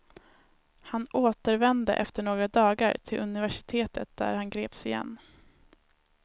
Han återvände efter några dagar till universitetet där han greps igen.